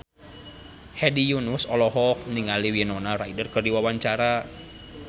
Hedi Yunus olohok ningali Winona Ryder keur diwawancara